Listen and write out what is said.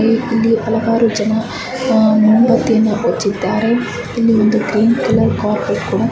ಇಲ್ ಇಲ್ಲಿ ಹಲವಾರು ಜನ ಅಹ್ ಮುಂಬತ್ತಿಯನ್ನು ಹಚ್ಚಿದ್ದಾರೆ. ಇಲ್ಲಿ ಒಂದು ಗ್ರೀನ್ ಕಲರ್ ಕಾರ್ಪೆಟ್ --